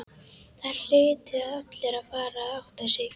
Það hlutu allir að fara að átta sig.